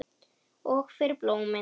Og fyrir blómin.